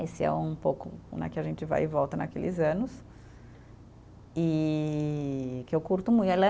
Esse é um pouco né, que a gente vai e volta naqueles anos e, que eu curto muito.